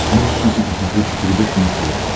можешь включить на смотрешке передачу муз тв